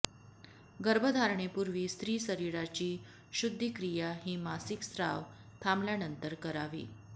गर्भधारणेपूर्वी स्त्री शरीराची शुद्धीक्रिया ही मासिक स्राव थांबल्यानंतर करावी